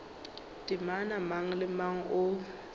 temana mang le mang o